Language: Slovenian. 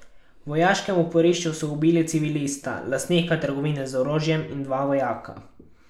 V vojaškem oporišču so ubili civilista, lastnika trgovine z orožjem, in dva vojaka.